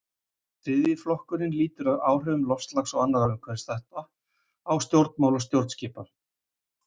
Þriðji flokkurinn lýtur að áhrifum loftslags og annarra umhverfisþátta á stjórnmál og stjórnskipan.